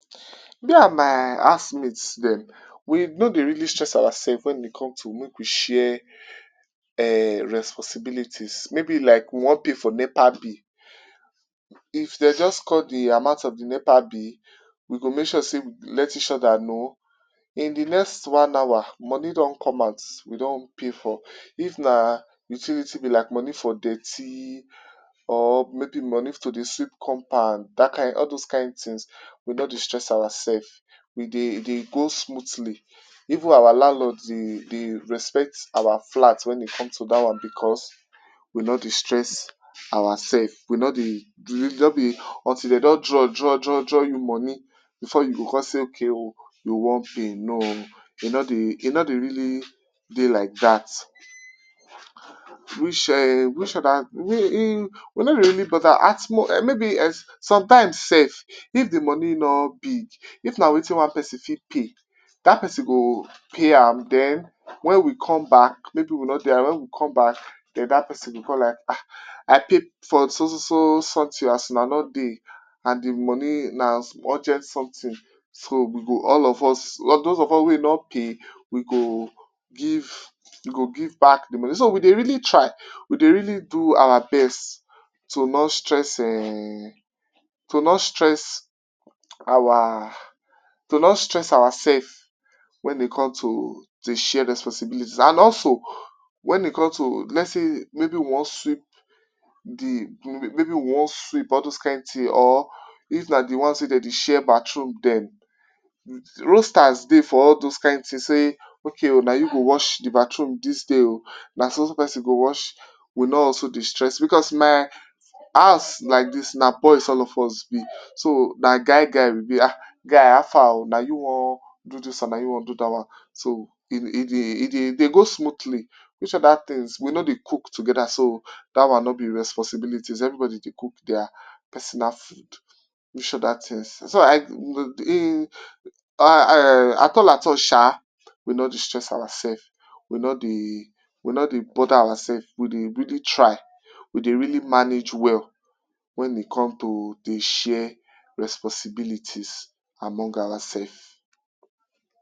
Me and my housemate dem, we no dey really stress ourselves when e come to make we share responsibilities. Maybe we wan pay for NEPA bill, if dem just call de amount of de NEPA bill, we go make sure say we let each other know. In de next one hour, moni don come out, we don pay for am. If na utility bill like moni for dirty or maybe moni to dey sweep compound—dat kin, all dat kin tins—we no dey stress ourselves. We dey go smoothly. Even our landlord dey respect our flat when e comes to dat one because we no dey stress ourselves. We no dey… until dem don dey draw, draw you moni before you go con say okay oh! You wan pay. No! E no dey really dey like dat. Which ehn! We no dey really bother. At most… sometimes sef, if de moni no big, if na wetin one pesin fit pay, dat pesin go pay am. Den when we come back—maybe we no dey around—when we come back, den dat pesin go con like, “Ah! I pay for so, so something as una no dey and de moni na urgent something.” So, all of us wey no pay, we go give back de moni. So we dey really try. We dey really do our best to not stress ehn! To not stress ourselves when it comes to de share responsibilities. And also, when e comes to, let’s say, we wan sweep or dis kin tin—or if na de ones wey dem dey share bathroom dem—roasters dey for dat kin tin. Say, “Okay oh! Na you go wash de bathroom dis day oh! Na so so pesin go wash.” We no also dey stress because my house like dis na boys all of us be. Na guy guy we be. “Guy, how far na? Na you wan do dis one?” So, e dey go smoothly. Which other tin? We no dey cook together so dat one no be responsibility. Everybody dey cook their personal food. Which other tin sef? So, I um! At all, at all sha! We no dey stress ourselves. We no dey bother ourselves. We dey really try. We dey really manage well when e comes to dey share responsibilities among ourselves.